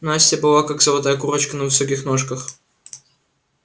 настя была как золотая курочка на высоких ножках